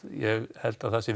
ég held að það sé